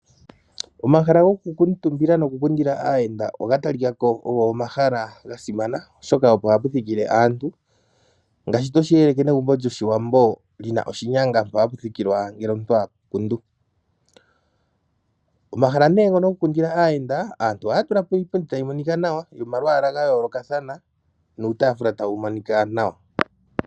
Omahala goku kuutumbila noku kundila aayenda oga talikako ogo omahala gasimana oshoka opo haputhikile aantu, ngaashi toshi eleke negumbo lyoshiwambo li na oshinyanga ngele omuntu takundwa. Omahala nee ngono goku kundila aayenda, aantu ohaya tulapo iipundi tayi moninka nawa yomayaala gayoolokatha nuutaafula tawu monika nawa.